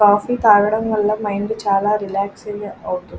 Coffee తాగడం వలన mind చాలా రిలాక్స్ గా అవుతుంది.